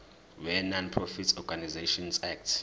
wenonprofit organisations act